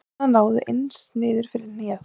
Buxurnar náðu aðeins niður fyrir hnéð.